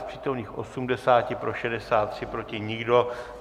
Z přítomných 80, pro 63, proti nikdo.